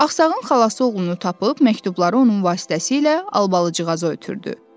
Axsağın xalası oğlunu tapıb məktubları onun vasitəsilə albalıcığaza ötrüdü.